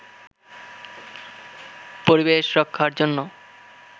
পরিবেশ রক্ষার জন্য